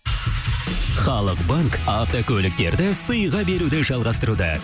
халық банк автокөліктерді сыйға беруді жалғастыруда